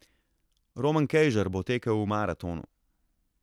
Roman Kejžar bo tekel v maratonu.